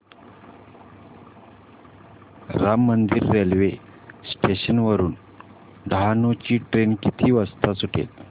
Ram Mandir railway station वरुन डहाणू ची train किती वाजता सुटेल